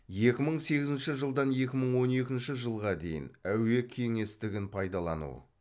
екі мың сегізінші жылдан екі мың он екінші жылға дейін әуе кеңістігін пайдалану